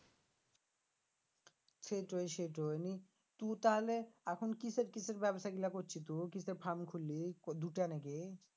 সেইটোই সেইটোই নিয়ে তু তাহলে এখন কিসের কিসের ব্যাবসাগুলা করছি তু কিসের farm খুললি দুইটা নাকি?